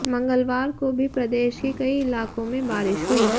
मंगलवार को भी प्रदेश के कई इलाकों में बारिश हुई